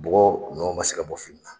Bɔgɔ nɔ man se ka bɔ fini na.